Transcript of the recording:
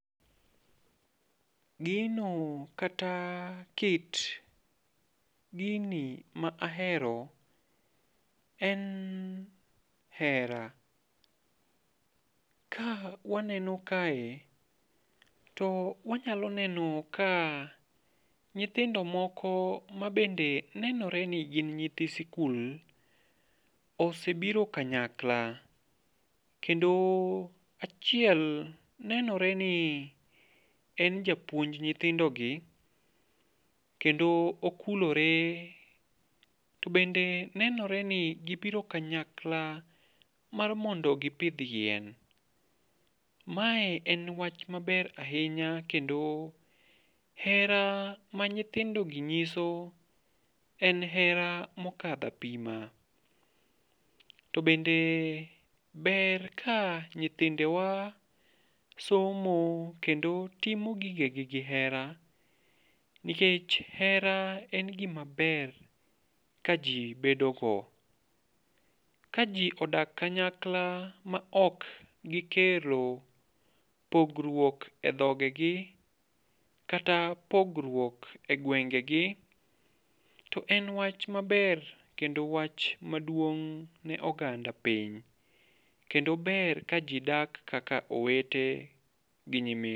Gino kata kit gini ma ahero en hera. Ka waneno kae, to wanyalo neno ka nyithindo moko mabende nenore ni gin nyithi sikul, osebiro kanyakla. Kendo achiel nenore ni en japuonj nyithindogi, kendo okulore. To bende nenore ni gibiro kanyakla mar mondo gipidh yien. Mae en wach maber ahinya, to kendo hera ma nyithindo gi nyiso en hera mokadho apima. To bende ber ka nyithindewa somo kendo timo gige gi gi hera. Nikech hera en gima ber ka ji bedo go. Ka ji odak kanyakla ma ok gikelo pogruok e dhogegi, kata pogruok e gwengegi. To en wach maber, kendo wach maduong' ne oganda piny. Kendo ber ka ji dak kaka owete gi nyimine.